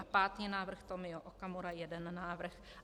A pátý návrh, Tomio Okamura, jeden návrh.